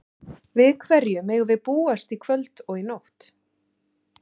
Við hverju megum við búast í kvöld og í nótt?